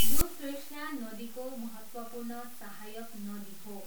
यो कृष्णा नदीको महत्त्वपूर्ण सहायक नदी हो।